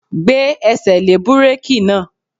Gbé ẹsẹ̀ lé búrèkì náà!